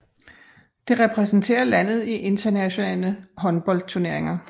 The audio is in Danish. Det repræsenterer landet i internationale håndboldturneringer